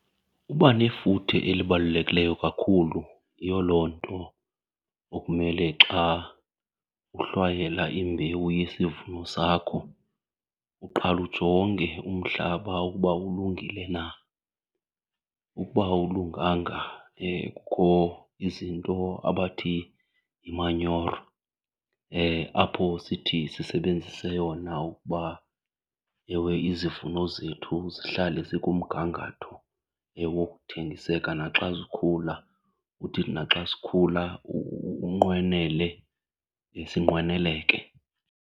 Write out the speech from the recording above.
Uba nefuthe elibalulekileyo kakhulu. Yiyo loo nto okumele xa uhlwayela imbewu yesivuno sakho uqale ujonge umhlaba ukuba ulungile na. Ukuba awulunganga, kukho izinto abathi yimanyoro apho sithi sisebenzise yona ukuba ewe izivuno zethu zihlale zikumgangatho wokuthengiseka. Naxa zikhula, uthi naxa sikhula unqwenele, sinqweneleke.